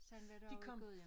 Sådan var det også i Gudhjem